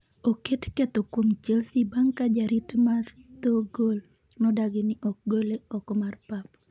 oket ketho kuom Chelsea' bang' ka jarit mar dho gol nodagi ni ok gole oko mar pap